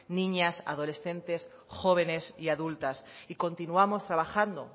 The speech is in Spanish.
niñas adolescentes jóvenes y adultas y continuamos trabajando